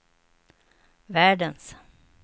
världens